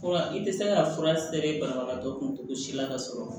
Fura i tɛ se ka fura sɛbɛn banabagatɔ kuntogo si la ka sɔrɔ